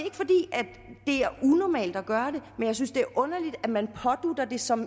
er unormalt at gøre det jeg synes det er underligt at man pådutter det som